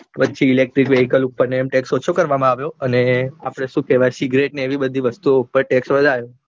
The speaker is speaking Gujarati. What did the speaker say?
પછી electric vehicles ઉપર ટેક્સ ઓછો અને આપડે સુ કેવાય સિગરેટ ને એવી બધી વસ્તુ ઓ ઉપર text વધાર્યો